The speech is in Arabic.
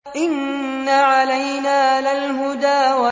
إِنَّ عَلَيْنَا لَلْهُدَىٰ